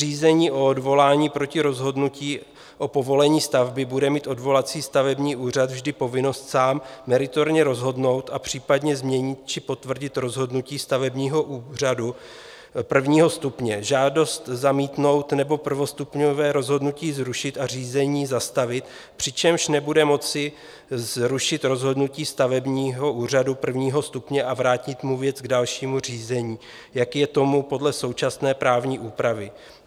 Řízení o odvolání proti rozhodnutí o povolení stavby bude mít odvolací stavební úřad vždy povinnost sám meritorně rozhodnout a případně změnit či potvrdit rozhodnutí stavebního úřadu prvního stupně, žádost zamítnout nebo prvostupňové rozhodnutí zrušit a řízení zastavit, přičemž nebude moci zrušit rozhodnutí stavebního úřadu prvního stupně a vrátit mu věc k dalšímu řízení, jak je tomu podle současné právní úpravy.